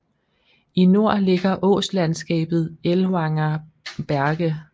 I nord ligger åslandskabet Ellwanger Berge